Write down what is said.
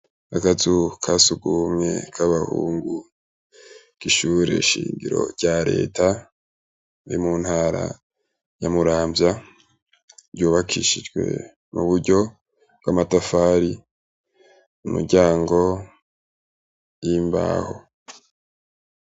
Akazu kasugumwe k'abahungu K'ishureshingiro rya Reta, iri muntara ya Muramvya, ryubakishijwe mu buryo bw'amatafari ,imiryango y'imbaho.